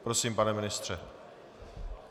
Prosím, pane ministře.